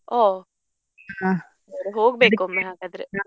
ಒಹ್ ಹೋಗ್ಬೇಕ್ ಒಮ್ಮೆ ಹಾಗಾದ್ರೆ.